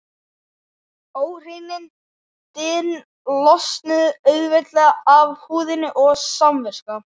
Óhreinindin losnuðu auðveldlega af húðinni og samviska